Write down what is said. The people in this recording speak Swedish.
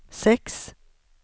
sex